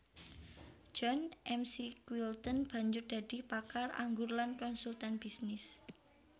John McQuilten banjur dadi pakar anggur lan konsultan bisnis